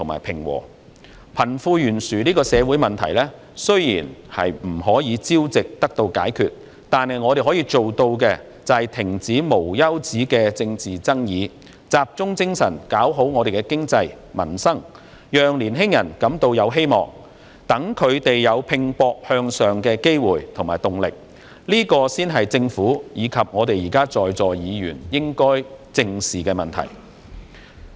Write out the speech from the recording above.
貧富懸殊這個社會問題，雖然不是一朝一夕可以解決，但我們可以做到的是，停止無休止的政治爭議，集中精神發展經濟，改善民生，讓年青人感到有希望，讓他們有拼搏向上的機會和動力，這才是政府及在座議員應該正視的問題。